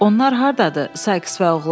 Onlar hardadır, Sayks və oğlan?